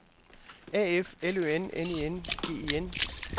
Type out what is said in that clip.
A F L Ø N N I N G E N